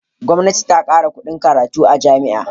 Gwamnati ta kara kuɗin karatu a jami'a.